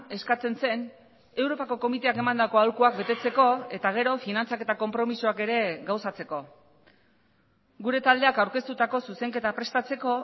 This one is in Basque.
eskatzen zen europako komiteak emandako aholkuak betetzeko eta gero finantzak eta konpromisoak ere gauzatzeko gure taldeak aurkeztutako zuzenketa prestatzeko